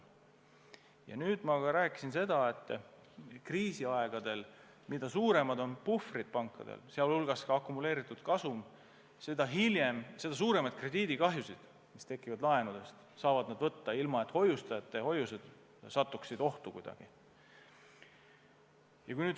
Ja ma rääkisin ka seda, et mida suuremad puhvrid pankadel kriisiajal on, mida suurem on nende akumuleeritud kasum, seda suuremaid laenudest tekkivaid krediidikahjusid nad suudavad kanda, ilma et hoiustajate hoiused satuksid ohtu.